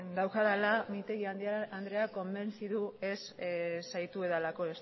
daukadala mintegi andrea konbentzitu ez zaitudalako